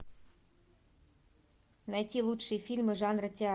найти лучшие фильмы жанра театр